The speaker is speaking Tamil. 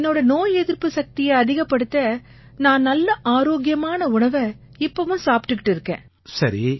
என்னோட நோய் எதிர்ப்பு சக்தியை அதிகப்படுத்த நான் நல்ல ஆரோக்கியமான உணவை இப்பவும் சாப்பிட்டுக்கிட்டு இருக்கேன்